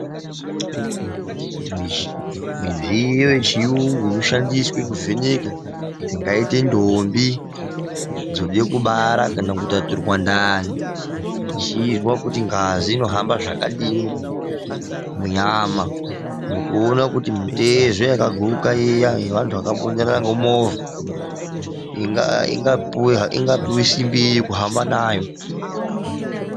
Midziyo yechirungu inoshandiswa kuvheneka dzingaite ndombi dzoda kubara kana kutaturwa ndani kuona ngazi kuti irikuhamba zvakadii munyama nekuona kuti mitezo yakaguka yevantu vakanga vakabonderana ngemovha vangapuhwawo re simbi yekuhamba nayo.